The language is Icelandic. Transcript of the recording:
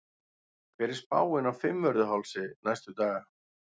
hver er spáin á fimmvörðuhálsi næstu daga